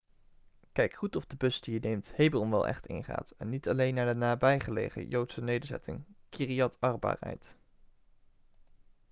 kijk goed of de bus die je neemt hebron wel echt ingaat en niet alleen naar de nabijgelegen joodse nederzetting kiryat arba rijdt